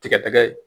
Tigɛtigɛ ye